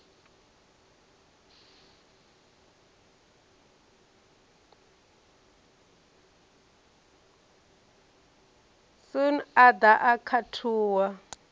sun a ḓa a khathuwa